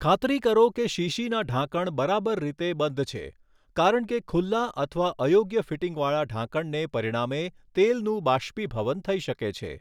ખાતરી કરો કે શીશીના ઢાંકણ બરાબર રીતે બંધ છે કારણ કે ખુલ્લા અથવા અયોગ્ય ફિટિંગ વાળા ઢાંકણને પરિણામે તેલનું બાષ્પીભવન થઈ શકે છે.